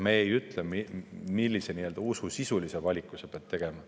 Me ei ütle, millise usulise valiku sa pead tegema.